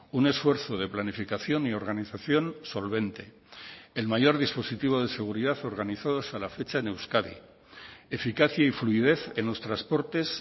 un esfuerzo de planificación y organización solvente el mayor dispositivo de seguridad organizados a la fecha en euskadi eficacia y fluidez en los transportes